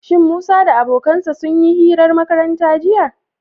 Shin Musa da abokansa sun yi hirar makaranta, jiya?